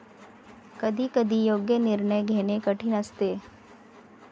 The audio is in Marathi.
कधी कधी योग्य निर्णय घेणे कठीण असते.